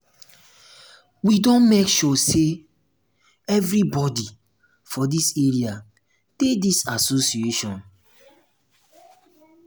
we don make sure sey everybodi for dis area dey dis association.